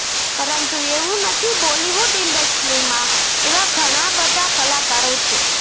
પરંતુ એવું નથી બોલીવુડ ઇન્ડસ્ટ્રીમાં એવા ઘણા બધા કલાકારો છે